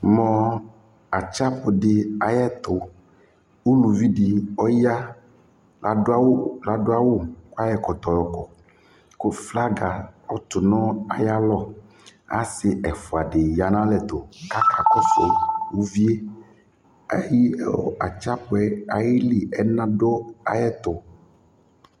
Mʋ atsapʋ dɩ ayɛtʋ Uluvi dɩ ɔya, adʋ awʋ adʋ awʋ kʋ ayɔ ɛkɔtɔ yɔkɔ kʋ flaga ɔtʋ nʋ ayalɔ Asɩ ɛfʋa dɩ ya nʋ alɛ tʋ kʋ akakɔsʋ uvi yɛ Ɛyɩ ɔ atsapʋ yɛ ayili ɛna dʋ ayɛtʋ